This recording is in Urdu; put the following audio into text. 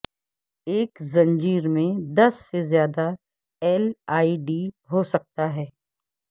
ایک زنجیر میں دس سے زیادہ ایل ای ڈی ہو سکتا ہے